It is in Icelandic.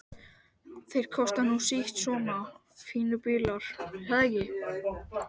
Þeir kosta nú sitt svona fínir bílar, er það ekki?